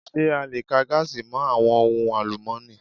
Ṣé a le ka gaasi mọ àwọn ohun àlùmọ́ni?